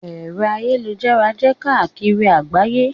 Ẹ̀rọ ayélujára jẹ́ káàkiri àgbáyé.